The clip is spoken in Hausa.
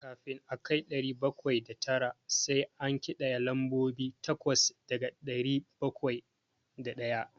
Kafin a kai ɗari bakwai da tara, sai an ƙidaya lambobi takwas daga ɗari bakwai da ɗaya.